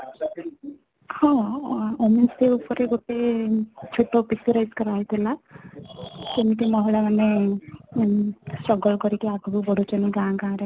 ହଁ , ଆମେ ସେଇ ଉପରେ ଗୋଟେ ଛୋଟ Picturize କରାହେଇ ଥିଲା କେମିତି ମହିଳା ମାନେ struggle କରିକି ଆଗକୁ ବଢ଼ୁ ଛନ୍ତି ଗାଁ ଗାଁ ରେ